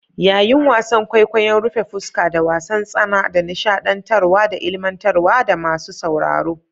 Yayin wasan kwaikwayon rufe fuska da wasan tsana da nishadantarwa da ilmantar da masu sauraro.